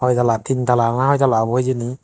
hoi tala tin tala na hoi tala obo hijeni.